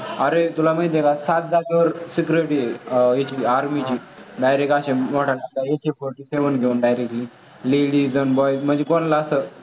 अरे तुला माहीत आहे का सात जागेवर security आहे. इथली army ची direct असं AK forty seven एक घेऊन directly ladies आणि boys म्हणजे कोणाला असं